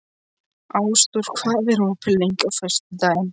Ásdór, hvað er opið lengi á föstudaginn?